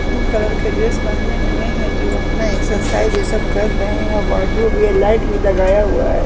Pink colour के dress पहने हुए हैं जो अपना एक्साइज़ ये सब कर रहे हैं वार्डरोब भी है लाइट भी लगाया हुआ है।